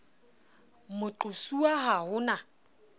moqo suwa ha ho na